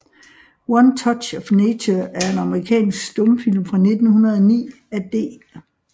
One Touch of Nature er en amerikansk stumfilm fra 1909 af D